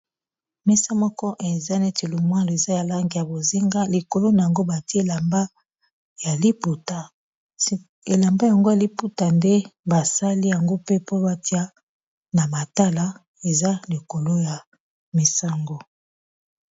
Mesa moko eza neti lumwalo eza ya langi ya bozinga likolo na yango batie elamba ya liputa elamba yango ya liputa nde basali yango pe po batia na matala eza likolo ya mesa ango.